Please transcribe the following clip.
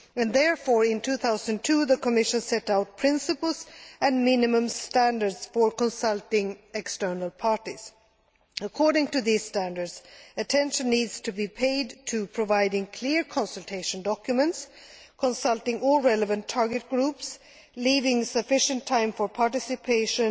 Therefore, in 2002 the Commission set out principles and minimum standards for consulting external parties. According to these standards, attention needs to be paid to providing clear consultation documents, consulting all relevant target groups, leaving sufficient time for participation,